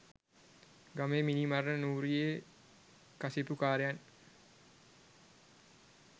ගමේ මිනී මරණ නූරියේ කසිප්පුකාරයන්